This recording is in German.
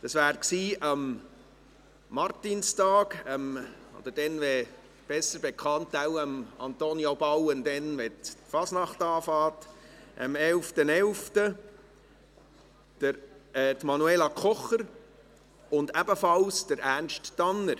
Dies waren am Martinstag – oder bei Antonio Bauen wohl besser bekannt als der 11.11., wenn die Fasnacht beginnt – Manuela Kocher und ebenfalls Ernst Tanner.